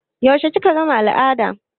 Yaushe kika gama al'ada?